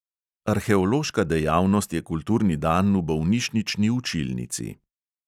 Arheološka dejavnost je kulturni dan v bolnišnični učilnici.